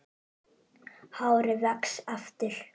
Hárið vex aftur.